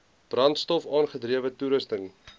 brandstof aangedrewe toerusting